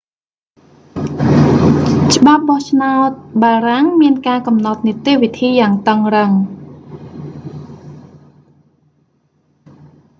ច្បាប់បោះឆ្នោតបារាំងមានការកំណត់និតិវិធីយ៉ាងតឹងរឹង